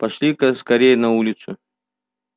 пошли-ка скорей на улицу